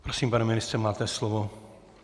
Prosím, pane ministře, máte slovo.